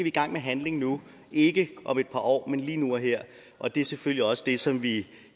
i gang med handling nu ikke om et par år men lige nu og her og det er selvfølgelig også det som vi